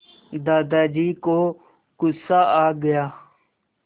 दादाजी को गुस्सा आ गया